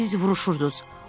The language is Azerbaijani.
Siz vuruşurdunuz.